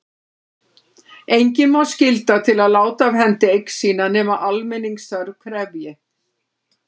Engan má skylda til að láta af hendi eign sína nema almenningsþörf krefji.